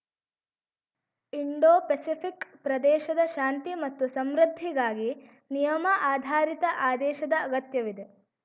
Indo Pacific ಪ್ರದೇಶದ ಶಾಂತಿ ಮತ್ತು ಸಂಮೃದ್ಧಿಗಾಗಿ ನಿಯಮ ಆಧಾರಿತ ಆದೇಶದ ಅಗತ್ಯವಿದೆ